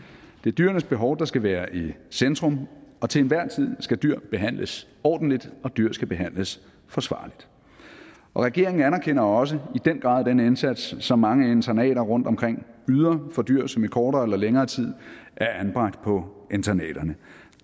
det er dyrenes behov der skal være i centrum og til enhver tid skal dyr behandles ordentligt og dyr skal behandles forsvarligt regeringen anerkender også i den grad den indsats som mange internater rundtomkring yder for dyr som i kortere eller længere tid er anbragt på internaterne